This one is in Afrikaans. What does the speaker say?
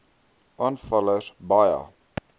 aanvaller s baie